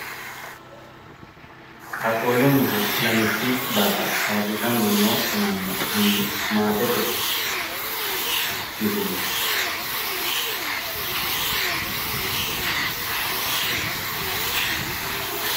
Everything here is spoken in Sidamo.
qaaqqullunniha ilamishshu barra ayyirrisanni noo ammanna anni maatete misileeti.